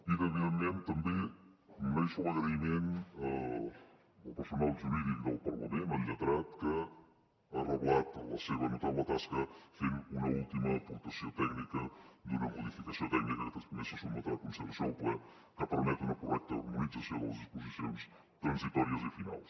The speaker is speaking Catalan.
i evidentment també m’uneixo a l’agraïment al personal jurídic del parlament al lletrat que ha reblat la seva notable tasca fent una última aportació tècnica d’una modificació tècnica que també se sotmetrà a consideració del ple que permet una correcta harmonització de les disposicions transitòries i finals